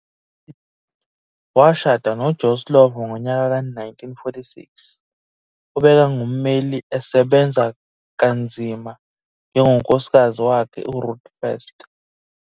Washada noJoe Slovo ngonyaka ka1946 obekangumeli asebenza kanzima njengoNkosikazi wakhe uRuth First.